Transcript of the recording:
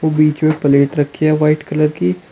बीच मे प्लेट रखी है व्हाइट कलर कि--